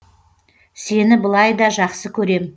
сені былай да жақсы көрем